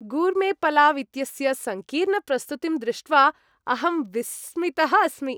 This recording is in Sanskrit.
गूर्मेपलाव् इत्यस्य सङ्कीर्णप्रस्तुतिं दृष्ट्वा अहं विस्मितः अस्मि।